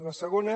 la segona